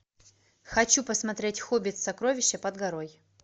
хочу посмотреть хоббит сокровища под горой